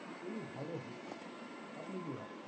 খুবি ভালো হতো, আপনি কি ভাবছেন?